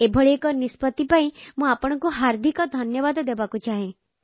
ଏଭଳି ଏକ ନିଷ୍ପତି ପାଇଁ ମୁଁ ଆପଣଙ୍କୁ ହାର୍ଦ୍ଦିକ ଧନ୍ୟବାଦ ଦେବାକୁ ଚାହେଁ